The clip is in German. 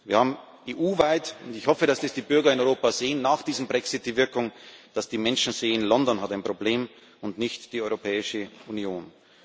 Wir haben EU weit und ich hoffe, dass die Bürger in Europa das sehen nach diesem Brexit die Wirkung, dass die Menschen sehen London hat ein Problem und nicht die Europäische Union.